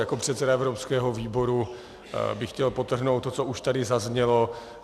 Jako předseda evropského výboru bych chtěl podtrhnout to, co už tady zaznělo.